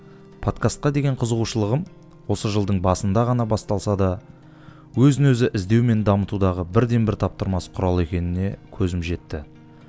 подкастқа деген қызығушылығым осы жылдың басында ғана басталса да өзін өзі іздеумен дамытудағы бірден бір таптырмас құрал екеніне көзім жетті